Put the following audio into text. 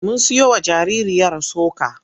Mun siyowa jaririyar soka.